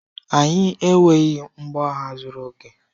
Anyị enweghị mgbọagha zuru oke.